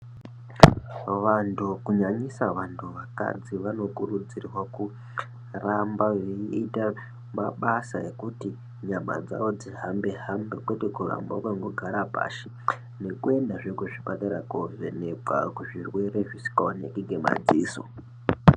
Vantu kunyanyisa vantu vakadzi, vano kurudzirwa kuramba veiyita mabasa ekuti nyama dzawo dzihambe hambe, kwete kuramba wakango gara pashi, nekuendazve kuzvipatara koovhenekwa kuzvirwere zvisinga oneki ngemadziso.